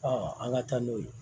an ka taa n'o ye